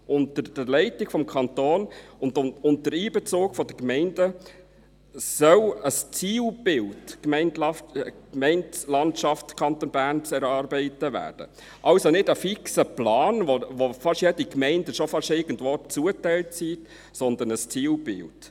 Unter der Leitung des Kantons und unter Einbezug der Gemeinden soll ein Zielbild «Gemeindelandschaft Kanton Bern» erarbeitet werden – also kein fixer Plan, wo fast jede Gemeinde schon beinahe irgendwo zugeteilt ist, sondern ein Zielbild.